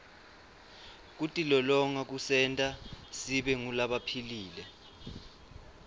kutilolonga kusenta sibe ngulabaphilile